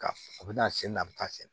Ka a bɛ na sen na a bɛ taa sen